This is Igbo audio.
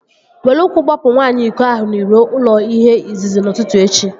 Were ụkwụ gbapụ nwaanyị iko ahụ n'iro ụlọ ihe izizi n'ụtụtụ echi!